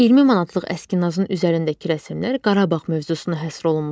20 manatlıq əskinasın üzərindəki rəsmlər Qarabağ mövzusuna həsr olunmuşdur.